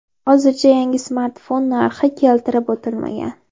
Hozircha yangi smartfon narxi keltirib o‘tilmagan.